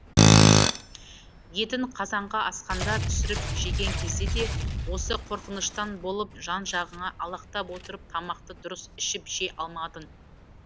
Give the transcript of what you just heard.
етін қазанға асқанда түсіріп жеген кезде де осы қорқыныштан болып жан жағыңа алақтап отырып тамақты дұрыс ішіп жей алмадың